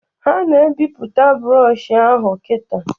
Ha na ebiputa brọshọ ahụ kita